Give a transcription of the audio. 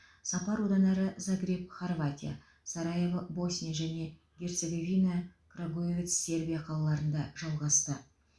сапар одан әрі загреб хорватия сараево босния және герцеговина крагуевац сербия қалаларында жалғасты